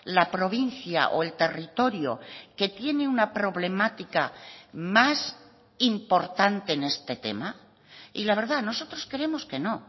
la provincia o el territorio que tiene una problemática más importante en este tema y la verdad nosotros creemos que no